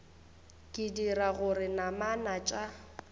e dira gore namana tša